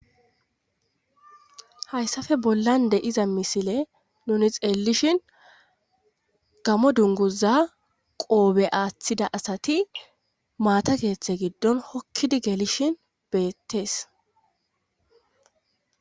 hayssafe bollan de'iza misile nuni xeellishin gamo dunguza qoobe aaththida asati maata geeththe giddon hokkidi geelishin beettees